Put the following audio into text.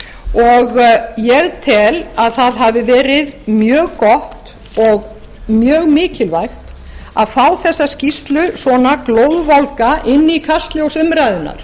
og ég tel að það hafi verið mjög gott og mjög mikilvægt að fá þessa skýrslu svona glóðvolga inn í kastljós umræðunnar